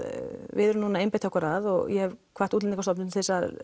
við erum núna að einbeita okkur að og ég hef hvatt Útlendingastofnun til þess að